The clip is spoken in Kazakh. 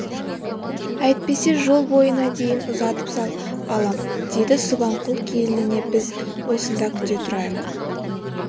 әйтпесе жол бойына дейін ұзатып сал балам деді субанқұл келініне біз осында күте тұрайық